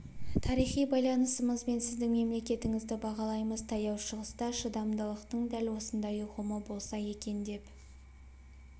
тарихи байланысымыз бен сіздің мемлекетіңізді бағалаймыз таяу шығыста шыдамдылықтың дәл осындай ұғымы болса екен деп